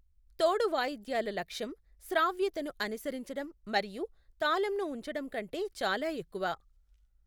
తోడు వాయిద్యాల లక్ష్యం శ్రావ్యతను అనుసరించడం మరియు తాళంను ఉంచడం కంటే చాలా ఎక్కువ.